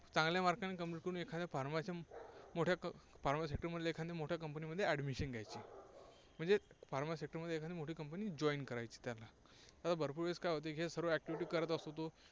चांगल्या mark ने Complete करून एखाद्या pharmacy मोठ्या pharma sector मधील एखाद्या मोठ्या कंपनीमध्ये admission घ्यायची. म्हणजे Pharma sector एकादी मोठी company join करायची त्याला. आता भरपूर वेळेस काय होते, हे सर्व activity करत असतो तो